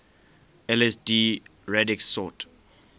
lsd radix sort